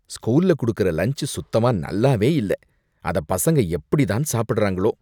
ஸ்கூல்ல குடுக்குற லன்ச் சுத்தமா நல்லாவே இல்ல, அத பசங்க எப்படிதான் சாப்பிடறாங்களோ.